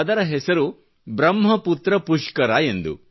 ಅದರ ಹೆಸರು ಪ್ರಹ್ಮ ಪುತ್ರ ಪುಷ್ಕರ ಎಂದು